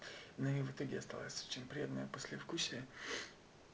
ну и в итоге осталось очень приятное послевкусие